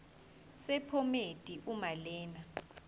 sephomedi uma lena